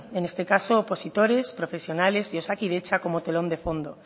en este caso opositores profesionales de osakidetza como telón de fondo